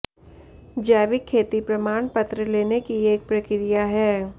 जैविक खेती प्रमाण पत्र लेने की एक प्रक्रिया है